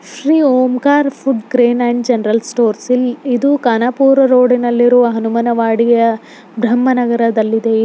Shri Omkar food grain and general stores ಇದು Kanpur road ನಲ್ಲಿರುವ ಹನುಮಾನ ವಾಡಿಯಾ ಭ್ರಮ ನಗರದಲ್ಲಿದೆ.